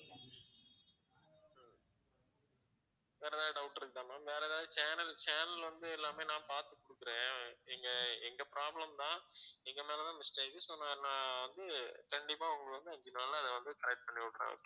வேற எதாவது doubt இருக்குதா ma'am வேற எதாவது channel channel வந்து எல்லாமே நான் பார்த்து குடுக்கிறேன் இங்க எங்க problem தான் எங்க மேல தான் mistake so நா~ நான் வந்து கண்டிப்பா உங்களுக்கு வந்து அஞ்சி நாள்ல நான் வந்து correct பண்ணிவிடுறேன்